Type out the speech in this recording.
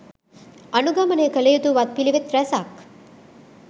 අනුගමනය කළයුතු වත් පිළිවෙත් රැසක්